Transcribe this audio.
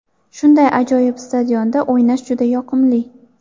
Shunday ajoyib stadionda o‘ynash juda yoqimli.